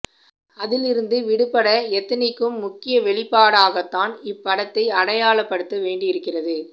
அதிலிருந்து விடுபட எத்தனிக்கும் முக்கிய வெளிப்பாடாகத்தான் இப்படத்தை அடையாளப் படுத்த வேண்டி இருக்கின்றது